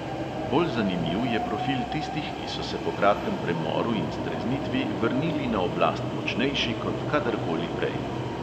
Bolj zanimiv je profil tistih, ki so se po kratkem premoru in streznitvi vrnili na oblast močnejši kot kadarkoli prej.